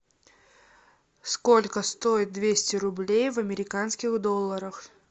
сколько стоит двести рублей в американских долларах